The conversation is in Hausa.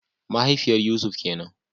Mahaifiyar Yusuf kenan